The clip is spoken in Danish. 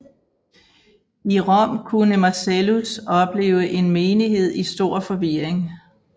I Rom kunne Marcellus opleve en menighed i stor forvirring